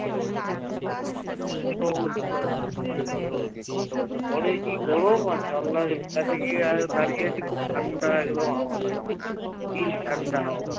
ঘরে কি গরম আর জানলার গিয়ে দাঁড়িয়ে আছি তো ঠান্ডা একদম হাওয়া কি ঠান্ডা হাওয়া